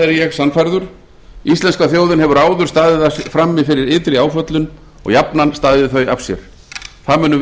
er ég sannfærður íslenska þjóðin hefur áður staðið frammi fyrir ytri áföllum og jafnan staðið þau af sér það munum við